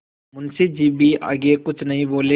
मुंशी जी भी आगे कुछ नहीं बोले